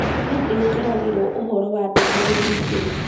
nĩndĩkĩragĩrwo ũhoro wa ndũmĩrĩri njerũ